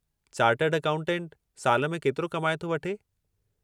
Chartered अकाउंटेंटु साल में केतिरो कमाए थो वठे?